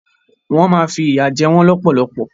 Wọn má fi ìyà jẹ wọn lọpọlọpọ.